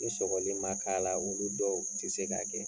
Ni sɔgɔli ma k'a la olu dɔw tɛ se k'a kɛ.